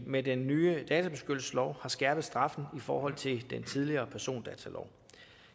med den nye databeskyttelseslov har skærpet straffen i forhold til den tidligere persondatalov